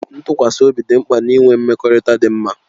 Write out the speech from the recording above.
Ntụkwasị obi dị mkpa na-ịnwe mmekọrịta dị mma